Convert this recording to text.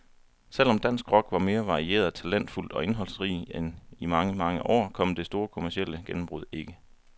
Selv om dansk rock var mere varieret, talentfuld og indholdsrig end i mange, mange år, kom det store kommercielle gennembrud ikke.